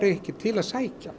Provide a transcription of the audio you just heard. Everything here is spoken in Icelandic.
ekkert til að sækja